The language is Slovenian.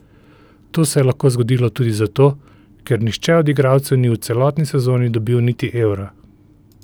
To se je lahko zgodilo tudi zato, ker nihče od igralcev ni v celotni sezoni dobil niti evra.